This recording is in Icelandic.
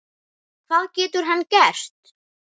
Hvað getur hann gert?